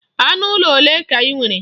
Anụ ụlọ olee ka i nwere?